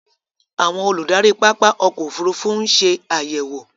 Àwọn olùdarí pápá ọkò òfurufú ń ṣe àyẹ̀wò.